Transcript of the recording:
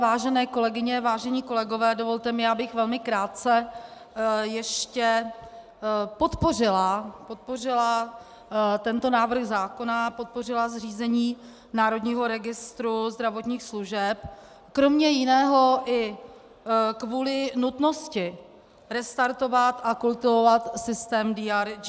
Vážené kolegyně, vážení kolegové, dovolte mi, abych velmi krátce ještě podpořila tento návrh zákona, podpořila zřízení Národního registru zdravotních služeb, kromě jiného i kvůli nutnosti restartovat a kultivovat systém DRG.